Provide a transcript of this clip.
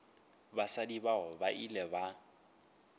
basadi bao ba ile ba